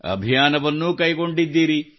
ಅಭಿಯಾನವನ್ನೂ ಕೈಗೊಂಡಿದ್ದೀರಿ